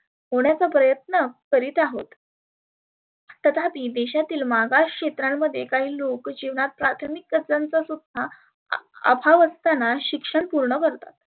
होण्याचा प्रयत्न करित आहोत. तथापी देशातील मागास क्षेत्रांमध्ये काही लोक जिवनात प्राथमीकतेचा सुद्धा अभाव असताना सुध्दा शिक्षण पुर्ण करतात.